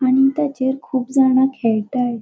आणि तेचेर कुब जाणा खेळटाय.